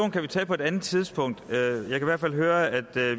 kan vi tage på et andet tidspunkt jeg kan i hvert fald høre at